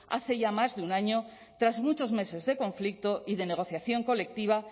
hace ya más de un año tras muchos meses de conflicto y de negociación colectiva